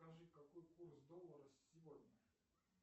скажи какой курс доллара сегодня